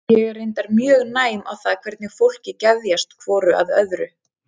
Ég er reyndar mjög næm á það hvernig fólki geðjast hvoru að öðru.